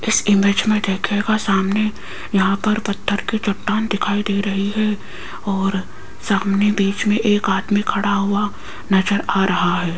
इस इमेज में देखिएगा सामने यहाँ पर पत्थर की चट्टान दिखाई दे रही है और सामने बीच में एक आदमी खड़ा हुआ नजर आ रहा है।